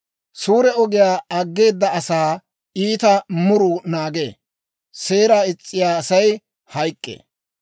Suure ogiyaa aggeeda asaa iita muruu naagee; seeraa is's'iyaa Asay hayk'k'ee.